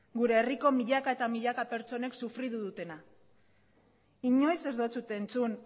gure herriko milaka eta milaka pertsonek sufritu dutena inoiz ez dizut entzun